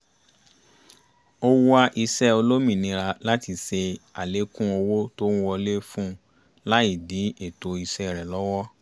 ó wá iṣẹ́ olómìnira láti ṣe àlékún owó tó ń wọlé fún-un láì dí ètò iṣẹ́ rẹ̀ lọ́wọ́